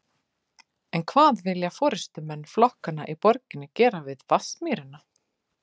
En hvað vilja forystumenn flokkanna í borginni gera við Vatnsmýrina?